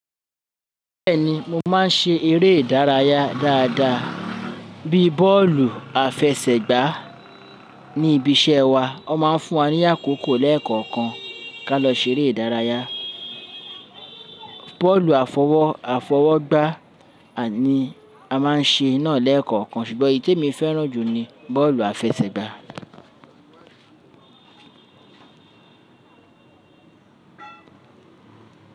Bẹ́ẹ̀ni, mo máa ń ṣe eré ìdárayá dáadáa bíi bọ́ọ̀lù àfẹsẹ̀gbá. Ni ibi iṣẹ́ wa, wọ́n máa ń fún wa ní àkókò lẹ́ẹ̀kọ̀kan ká lọ ṣeré ìdárayá. Bọ́ọ̀lù àfọwọ́ àfọwọ́gbá ni a máa ń ṣe náà lẹ́ẹ̀kọ̀kan ṣùgbọ́n èyí tí mo fẹ́ràn jù ni bọ́ọ̀lù àfẹsẹ̀gbá.